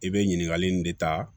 I bɛ ɲininkali nin de ta